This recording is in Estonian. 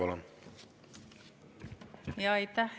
Kolm minutit lisaaega, palun!